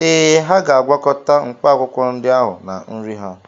Ee, ha ga-agwakọta mkpaakwụkwọ ndị ahụ na nri ha.